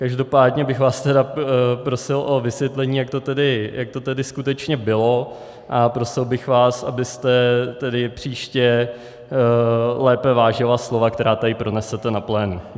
Každopádně bych vás tedy prosil o vysvětlení, jak to tedy skutečně bylo, a prosil bych vás, abyste tedy příště lépe vážila slova, která tady pronesete na plénu.